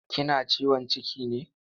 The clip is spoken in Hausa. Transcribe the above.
Kina ciwon ciki ne?